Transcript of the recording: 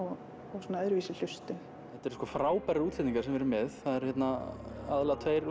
og svona öðruvísi hlustun þetta eru sko frábærar útsetningar sem við erum með það eru hérna aðallega tveir